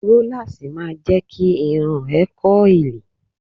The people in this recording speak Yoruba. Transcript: Rólásì ma jẹ́ kí irun ẹ kọ́ìlì